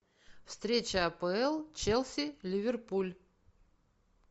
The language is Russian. встреча апл челси ливерпуль